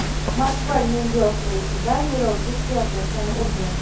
Moskva Nyu-York reysida yo‘lovchi styuardessani urdi.